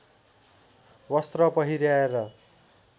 वस्त्र पहिर्‍याएर